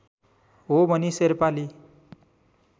हो भनी शेर्पाली